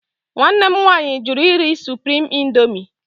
Nwanne m nwaanyị jụrụ iri Supriim Indoomi.